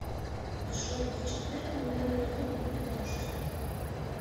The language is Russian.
джой в четверг в минеральные воды будет дождь